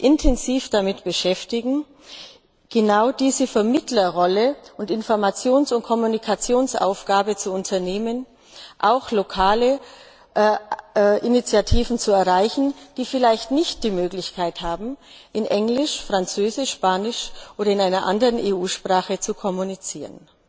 intensiv damit beschäftigen, genau diese Vermittlerrolle und Informations und Kommunikationsaufgabe zu unternehmen, auch lokale Initiativen zu erreichen, die vielleicht nicht die Möglichkeit haben, in Englisch, Französisch, Spanisch oder in einer anderen EU Sprache zu kommunizieren.